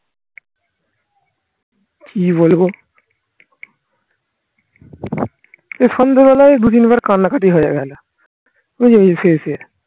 কি বলবো এই সন্ধ্যেবেলায় বুঝিনি এবার কান্নাকাটি হয়ে গেলো